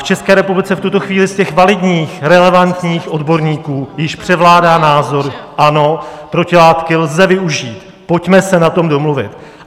V České republice v tuto chvíli z těch validních, relevantních odborníků již převládá názor: Ano, protilátky lze využít, pojďme se na tom domluvit.